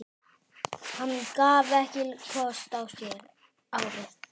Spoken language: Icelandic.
Hann gaf ekki kost á sér árið